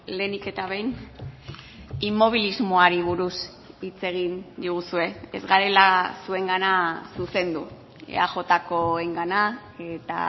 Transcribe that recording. lehenik eta behin inmobilismoari buruz hitz egin diguzue ez garela zuengana zuzendu eajkoengana eta